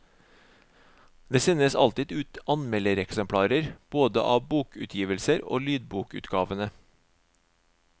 Det sendes alltid ut anmeldereksemplarer både av bokutgivelsene og lydbokutgavene.